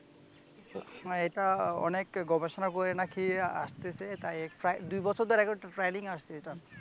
এটা অনেক গবেষণা করে নাকি আসতেছে, এটা প্রায় দুবছর ধরে ট্রায়ালিং এ আসছে এটা